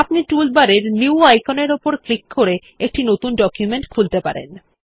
আপনি টুলবার এর নিউ আইকনের উপর ক্লিক করে একটি নতুন ডকুমেন্ট খুলতে পারেন